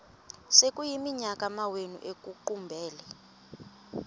sekuyiminyaka amawenu ekuqumbele